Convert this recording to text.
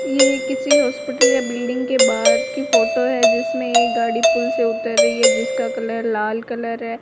ये किसी हॉस्पिटल या बिल्डिंग के बाहर की फोटो है जिसमें एक गाड़ी पुल से उतर रही है जिसका कलर लाल कलर है।